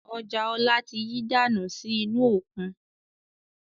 Ọjà ọ̀la tí yí dànù sì inú òkun